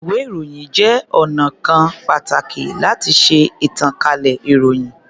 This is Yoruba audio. Ìwé-ìròyìn jẹ́ ọnà kan pàtàkì láti ṣe ìtànkálẹ̀ ìròyìn.